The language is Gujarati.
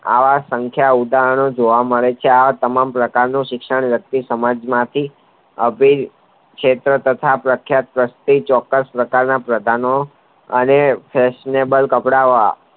આ સંખ્યાઓ ઉદાહરણો જોવા મળે છે આ તમામ પ્રકારની શિક્ષણ વ્યક્તિ સમાજમાથી અભી ક્ષેત્ર તથા પ્રખ્યાત વસ્તુ ચોક્કસ પ્રકારના પ્રધાનો અને feshionebal કપડાવાળા